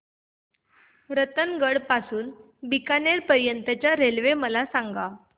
रतनगड पासून ते बीकानेर पर्यंत च्या रेल्वे मला सांगा